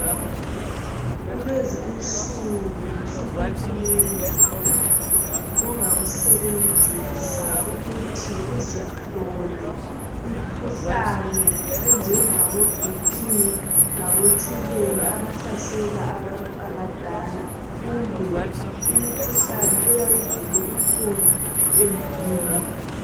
Kulezi insuku sokukunengi ongakusebenzisa ukuthi uzihlole imikhuhlane enjengaboBP labotshukela abahlasela abantu abadala kumbe imikhuhlane eyayivele ikhona emulini